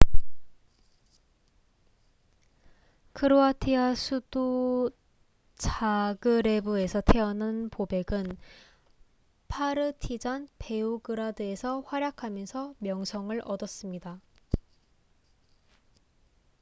크로아티아 수도 자그레브에서 태어난 보벡은 파르티잔 베오그라드에서 활약하면서 명성을 얻었습니다